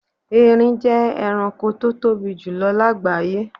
Ẹrin jẹ́ ẹranko tó tóbi jù lọ láágbàyé.